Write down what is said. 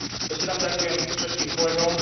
Ešte raz ďakujem všetkým kolegom.